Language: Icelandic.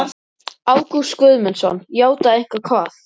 Ágúst Guðmundsson: Játað eitthvað hvað?